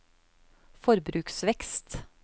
forbruksvekst